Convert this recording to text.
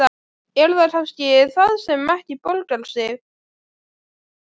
Er það kannski það sem ekki borgar sig?